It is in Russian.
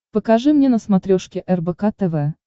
покажи мне на смотрешке рбк тв